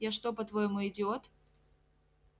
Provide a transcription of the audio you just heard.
я что по-твоему идиот